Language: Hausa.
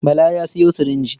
Bala ya sayo sirinji.